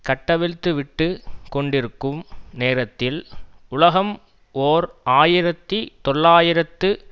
கட்டவிழ்த்துவிட்டுக் கொண்டிருக்கும் நேரத்தில் உலகம் ஓர் ஆயிரத்தி தொள்ளாயிரத்து